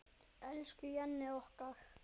Elsku Jenni okkar.